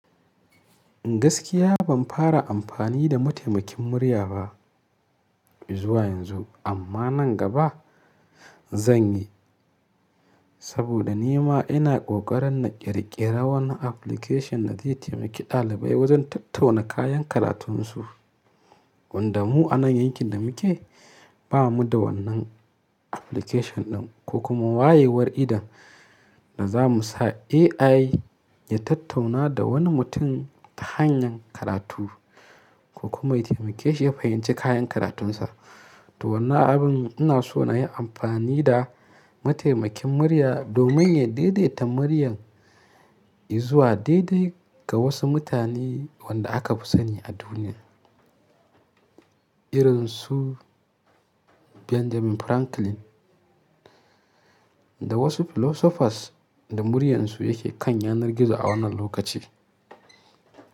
Gaskiya ban fara amfani da mataimakin murya ba izuwa yanzu, amma nan gaba zan yi. Saboda ni ma ina ƙoƙarin na ƙirƙiri wani application da zai taimaki ɗalibai wajen tattauna kayan karatunsu. Wanda mu a nan yankin da muke ba mu da wannan application ɗin, ko kuma wayewar idan da za mu sa AI ya tattauna da wani mutum ta hanyan karatu ko kuma ya taimake shi ya fahimci kayan karatunsa. To wannan abin ina so na yi amfani da mataimakin murya domin ya daidaita muryan izuwa daidai ga wasu mutane wanda aka fi sani a duniya. Irin su Benjamin Franklin da wasu philosophers da muryansu yake kan yanar gizo a wannan lokaci.